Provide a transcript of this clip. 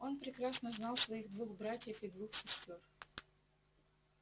он прекрасно знал своих двух братьев и двух сестёр